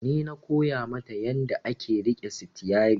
Ni na koya mata yanda ake riƙe sitiyari